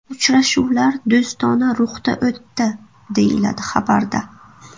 Uchrashuvlar do‘stona ruhda o‘tdi, deyiladi xabarda.